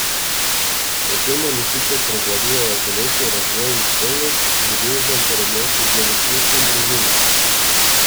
Med temami sicer prevladujejo telesni razvoj in spolnost, ljubezen ter odnosi z vrstniki in družino.